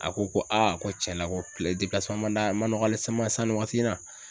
A ko ko ko cɛn na ko ma d'a ma nɔgɔ ale sama san ni waati na.